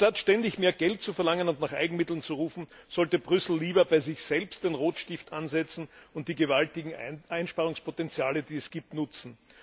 Anstatt ständig mehr Geld zu verlangen und nach Eigenmitteln zu rufen, sollte Brüssel lieber bei sich selbst den Rotstift ansetzen und die gewaltigen Einsparungspotenziale, die es gibt, nutzen.